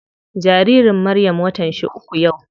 Jaririn Maryam watan shi uku yau.